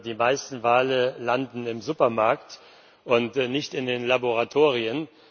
Die meisten Wale landen im Supermarkt und nicht in den Laboratorien.